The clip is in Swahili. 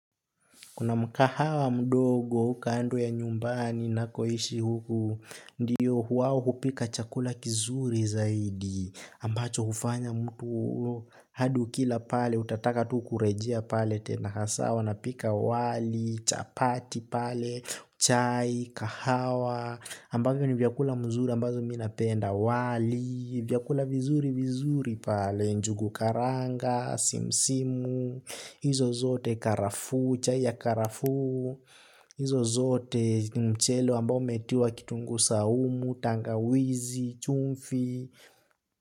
Kuna mkahawa mdogo kando ya nyumbani nakoishi huku, ndiyo huu wao hupika chakula kizuri zaidi, ambacho hufanya mtu hadi ukila pale, utataka tu kurejea pale, tena hasa wanapika wali, chapati pale, chai, kahawa, ambavyo ni vyakula mzuri ambazo mimi napenda wali, vyakula vizuri vizuri pale, njugu karanga, simsimu, hizo zote karafu, chai ya karafu. Izo zote ni mchele ambao umetiwa kitunguu saumu, tangawizi, chumvi.